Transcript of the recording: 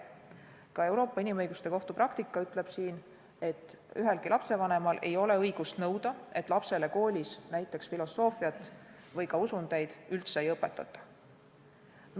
Ka Euroopa Inimõiguste Kohtu praktika ütleb siin, et ühelgi lapsevanemal ei ole õigust nõuda, et lapsele koolis näiteks filosoofiat või ka usundeid üldse ei õpetata.